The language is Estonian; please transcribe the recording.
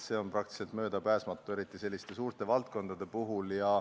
See on praktiliselt möödapääsmatu, eriti selliste suurte valdkondade puhul.